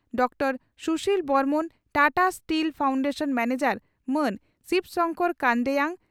doctor Sushil Barman Tata steel foundation manager ᱢᱟᱱ ᱥᱤᱵᱽ ᱥᱚᱝᱠᱚᱨ ᱠᱟᱱᱰᱮᱭᱟᱝ